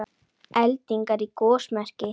Eldingar í gosmekki